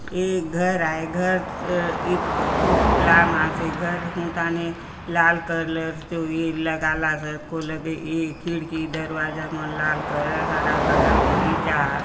ये घर आय घर खूब लंब आसे घर हुंथाने लाल कलर चो ये लगालासे कोलगे ये खिड़की दरवाजा मन लाल कलर हरा कलर बगीचा आ --